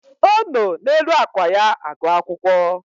O no n'elu ákwà ya agụ akwụkwọ